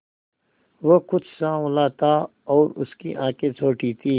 वह कुछ साँवला था और उसकी आंखें छोटी थीं